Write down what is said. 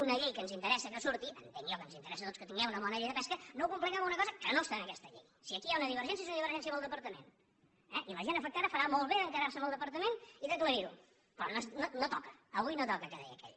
una llei que ens interessa que surti entenc jo que ens interessa a tots que tinguem una bona llei de pesca no compliquem una cosa que no està en aquesta llei si aquí hi ha una divergència és una divergència amb el departament i la gent afectada farà molt bé d’encarar se amb el departament i aclarir ho però no toca avui no toca que deia aquell